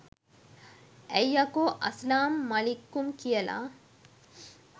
ඇයි යකෝ අස්ලාම් මලික්කුම් කියල